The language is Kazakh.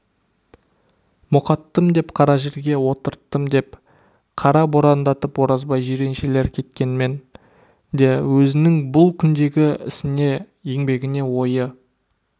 мұқаттым деп қара жерге отырттым деп қара борандатып оразбай жиреншелер кеткенмен де өзінің бұл күндегі ісіне еңбегіне ойы